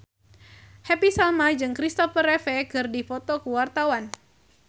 Happy Salma jeung Christopher Reeve keur dipoto ku wartawan